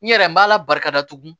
N yɛrɛ n b'a la barikada tuguni